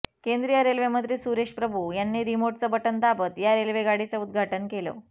केंद्रीय रेल्वेमंत्री सुरेश प्रभू यांनी रिमोटचं बटन दाबत या रेल्वेगाडीचं उदघाटन केलं